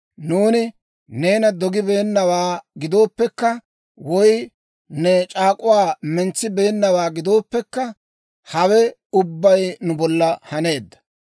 Nuuni neena dogibeennawaa gidooppekka, woy ne c'aak'uwaa mentsibeenawaa gidooppekka, Hawe ubbay nu bolla haneedda.